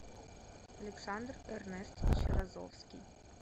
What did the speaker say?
александр эрнестович разовский